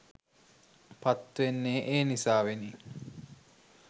පත්වෙන්නේ ඒ නිසාවෙනි